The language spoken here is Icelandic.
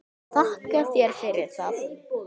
Þakka þér fyrir það.